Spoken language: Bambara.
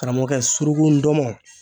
Karamɔgɔkɛ suruku ndɔmɔn